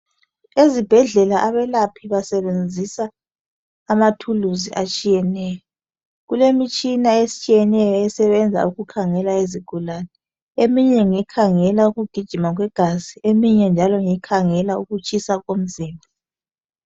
Ezibhedlela abelaphi basebenzisa amathulusi atshiyeneyo. Kulemitshina etshiyeneyo esebenza ukukhangela izigulane. Eminye ngekhangela ukugijima kwegazi ,eminye njalo ngekhangela ukutshisa komzimba.